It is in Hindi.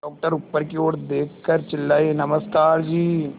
डॉक्टर ऊपर की ओर देखकर चिल्लाए नमस्कार जी